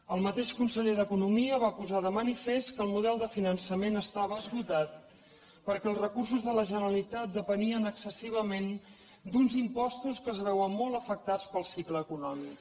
el mateix conseller d’economia va posar de manifest que el model de finançament estava esgotat perquè els recursos de la generalitat depenien excessivament d’uns impostos que es veuen molt afectats pel cicle econòmic